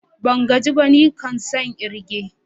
Ban gaji ba, nikan tson kirge.